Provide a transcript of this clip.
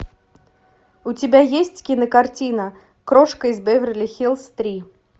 у тебя есть кинокартина крошка из беверли хиллз три